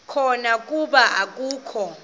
khona kuba akakho